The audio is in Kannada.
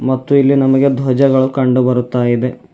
ಮತ್ತು ಇಲ್ಲಿ ನಮಗೆ ಧ್ವಜಗಳು ಕಂಡು ಬರ್ತಾ ಇವೆ.